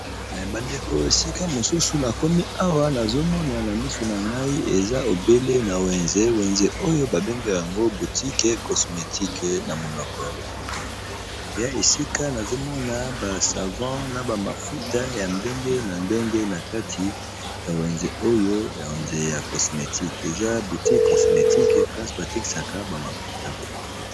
bandeko esika mosusu na komi awa nazomona na misu na ngai eza ebele na wenze wenze oyo babengaka yango butique cosmetique na monoko ya lopoto ya esika nazomona basavant na bamafuta ya ndenge na ndenge na kati ya wenze oyo ya enze ya cosmétique eza boutique cosmétique place batekisaka bamafuta ya kopakola